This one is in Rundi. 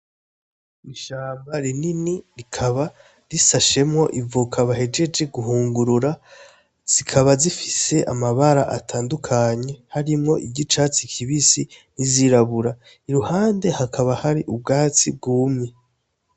Ishamba rinini, rikaba rishashemwo ivoka bahejeje guhungurura, zikaba zifise amabara atandukanye harimwo iry'icatsi kibisi n'izirabura. I ruhande hakaba hari ubwatsi bwumye.